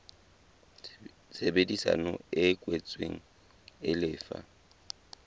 tshebedisano e kwetsweng e lefa